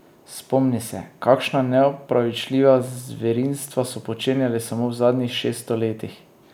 Spomni se, kakšna neopravičljiva zverinstva so počenjali samo v zadnjih šeststo letih.